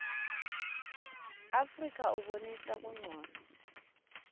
afrika ubonisa buncono